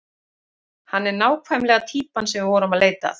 Hann er nákvæmlega týpan sem við vorum að leita að.